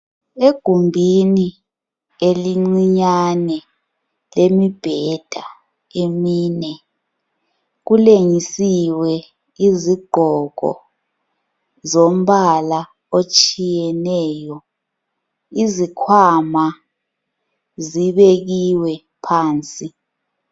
Egumbini elincinyane lemibheda emine. Kulengisiwe izigqoko zombala otshiyeneyo. Izikhwama zibekiwe phansi.